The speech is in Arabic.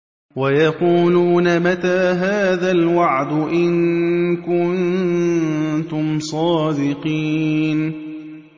وَيَقُولُونَ مَتَىٰ هَٰذَا الْوَعْدُ إِن كُنتُمْ صَادِقِينَ